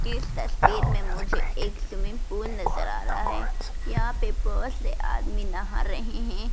इस तस्वीर में मुझे एक स्विमिंग पूल नजर आ रहा है यहां पे बहोत से आदमी नहा रहे हैं।